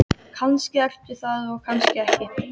Kannski ertu það og kannski ekki.